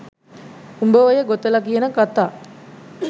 උඹ ඔය ගොතල කියන කථා